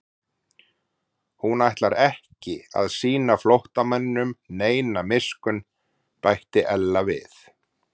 Hún ætlar ekki að sýna flóttamanninum neina miskunn bætti Ella við.